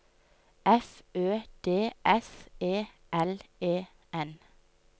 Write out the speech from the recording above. F Ø D S E L E N